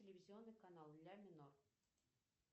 телевизионный канал ля минор